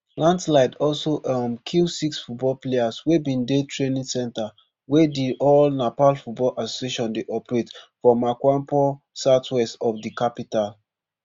landslide also um kill six football players wey bin dey training centre wey di all nepal football association dey operate for makwanpur southwest of di capital